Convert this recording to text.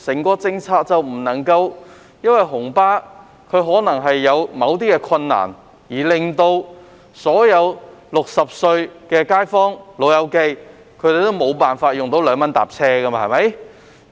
不能因為紅巴可能有某些困難，而令所有60歲的"老友記"無法享用2元乘車優惠。